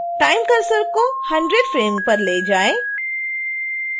time cursor को 100वें frame पर ले जाएं